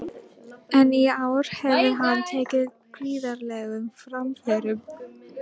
Hann bar hugmyndina undir Völu, sem var strax til í að fara.